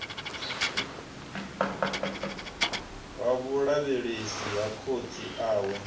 ha vhulavhelesi ha khotsi awe